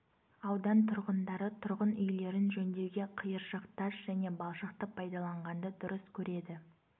аудан тұрғындары тұрғын үйлерін жөндеуге қиыршық тас және балшықты пайдаланғанды дұрыс көреді